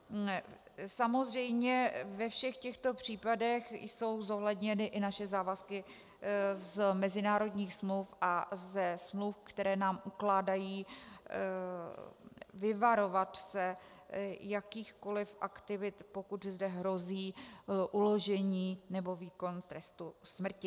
Samozřejmě ve všech těchto případech jsou zohledněny i naše závazky z mezinárodních smluv a ze smluv, které nám ukládají vyvarovat se jakýchkoli aktivit, pokud zde hrozí uložení nebo výkon trestu smrti.